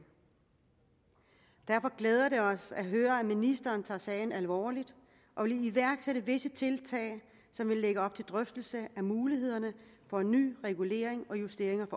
derfor glæder det os at høre at ministeren tager sagen alvorligt og vil iværksætte visse tiltag som vil lægge op til drøftelse af mulighederne for en ny regulering og justering